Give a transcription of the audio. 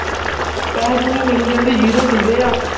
ਪੈਸੇ ਪੂਸੇ ਮਿਲੀ ਜਾਂਦੇ zero ਦਿੰਦੇ ਆ।